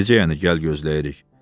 Necə yəni gəl gözləyirik.